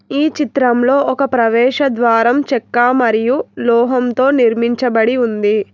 ఈ చిత్రంలో ఒక ప్రవేశద్వారం చెక్కా మరియు లోహంతో నిర్మించబడి ఉంది.